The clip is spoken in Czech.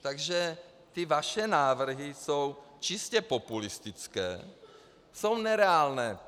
Takže ty vaše návrhy jsou čistě populistické, jsou nereálné.